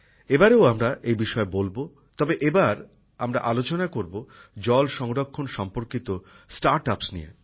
এবারও আমরা এই বিষয়ে বলব তবে এবার আমরা আলোচনা করব জল সংরক্ষণ সম্পর্কিত নতুন উদ্যোগ নিয়ে